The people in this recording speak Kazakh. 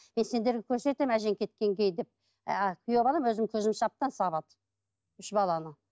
мен сендерге көрсетемін әжең кеткеннен кейін деп күйеу балам өзімнің көзімше әбден сабады үш баланы